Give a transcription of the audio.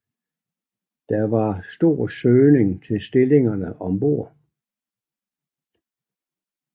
Der var stor søgning til stillingerne om bord